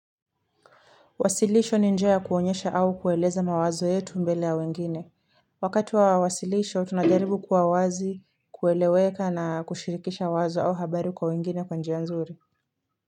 Wasilisho ni njia kuonyesha au kueleza mawazo yetu mbele ya wengine. Wakati wa wasilisho, tunajaribu kuwa wazi kueleweka na kushirikisha wazo au habari kwa wengine kwa njia nzuri.